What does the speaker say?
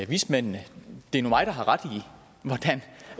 vismændene det er nu mig der har ret